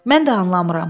Mən də anlamıram.